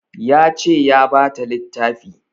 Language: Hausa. Ya ce ya bata littafi